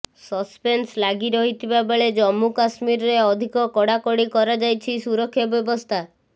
suspense ଲାଗି ରହିଥିବା ବେଳେ ଜମ୍ମୁ କାଶ୍ମୀରରେ ଅଧିକ କଡ଼ାକଡ଼ି କରାଯାଇଛି ସୁରକ୍ଷା ବ୍ୟବସ୍ଥା